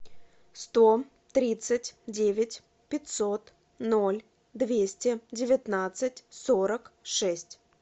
сто тридцать девять пятьсот ноль двести девятнадцать сорок шесть